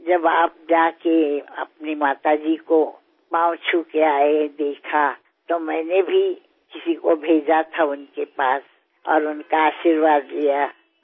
మీరు వెళ్ళి మీ అమ్మగారి పాదాలంటి ఆశీర్వాదం తీసుకుని వచ్చాకా నేను కూడా ఆవిడ వద్దకు ఎవరినో పంపించి ఆవిడ ఆశీర్వాదాలను అందుకున్నాను